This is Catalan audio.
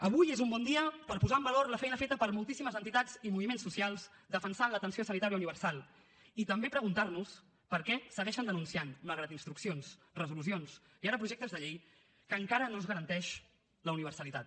avui és un bon dia per posar en valor la feina feta per moltíssimes entitats i moviments socials defensant l’atenció sanitària universal i també preguntar nos per què segueixen denunciant malgrat instruccions resolucions i ara projectes de llei que encara no es garanteix la universalitat